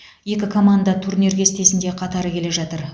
екі команда турнир кестесінде қатар келе жатыр